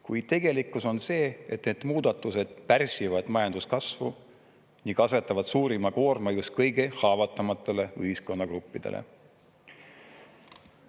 Kuid tegelikkus on see, et need muudatused pärsivad majanduskasvu ning asetavad suurima koorma just kõige haavatavamatele ühiskonnagruppidele.